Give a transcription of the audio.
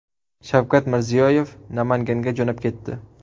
Shavkat Mirziyoyev Namanganga jo‘nab ketdi.